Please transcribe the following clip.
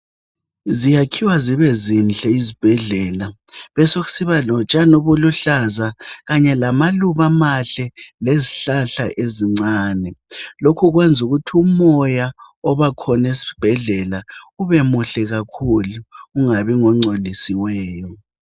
Ziyakhiwa zibe zinhle izibhedlela besokusiba lotshani obuluhlaza kanye lamaluba amahle lezihlahla ezincane , lokhu kwenza ukuthi umoya obakhona esibhedlela ubemuhle kakhulu , ungabi ngongcolosiweyo